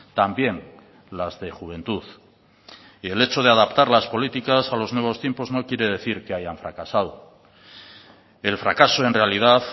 también las de juventud y el hecho de adaptar las políticas a los nuevos tiempos no quiere decir que hayan fracasado el fracaso en realidad